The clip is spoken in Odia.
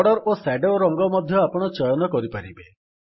ବର୍ଡର୍ ଓ ସ୍ୟାଡୋର ରଙ୍ଗ ମଧ୍ୟ ଆପଣ ଚୟନ କରିପାରିବେ